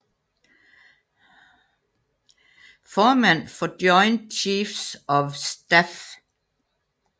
Formand for Joint Chiefs of Staff